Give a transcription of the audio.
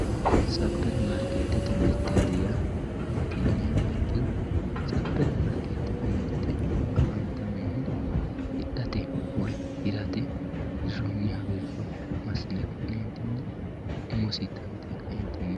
superimaarkeetete mirte yaa maati yiniha ikkiro superimaarkeetete mirte mirte afantannohu hidhate woyi hirate hirrroonni wirro massine ka'neentinni umosi dandee kaeentinni.